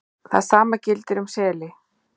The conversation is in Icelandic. Það sama gildir um seli